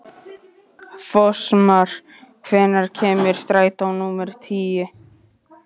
Fossmar, hvenær kemur strætó númer tíu?